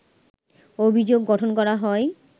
অভিযোগ গঠন করা হয়